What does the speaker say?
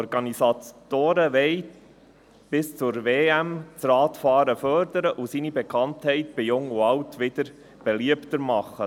Die Organisatoren wollen bis zur WM das Radfahren fördern und seine Bekanntheit bei Jung und Alt wieder beliebter machen.